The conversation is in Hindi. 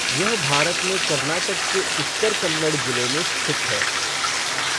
यह भारत में कर्नाटक के उत्तर कन्नड़ जिले में स्थित है।